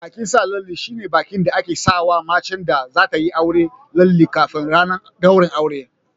Bikin sa lalle shine bikin da ake sawa macen da zatayi aure lalle kafin ranar ɗaurin aure.